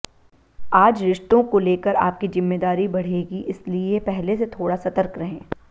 आज रिश्तों को लेकर आपकी जिम्मेदारी बढ़ेगी इसलिए पहले से थोडा सतर्क रहें